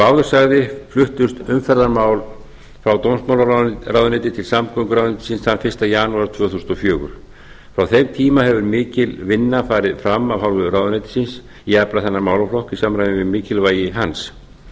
áður sagði fluttust umferðarmál frá dómsmálaráðuneyti til samgönguráðuneytis þann fyrsta janúar tvö þúsund og fjögur frá þeim tíma hefur mikil vinna farið fram af hálfu ráðuneytisins í allan þennan málaflokk í samræmi við mikilvægi hans